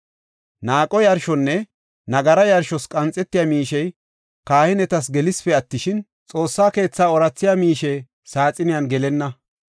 Naaqo yarshonne nagara yarshos qanxetiya miishey kahinetas gelesipe attishin, Xoossa keetha oorathiya miishe saaxiniyan gelenna.